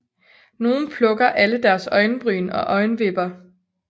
Nogle plukker alle deres øjenbryn og øjenvipper